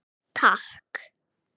Takk